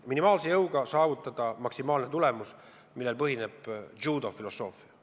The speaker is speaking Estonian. Minimaalse jõuga saavutada maksimaalne tulemus – sellel põhineb džuudo filosoofia.